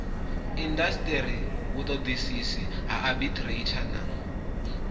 indasiteri vhutodisisi ha aborathari na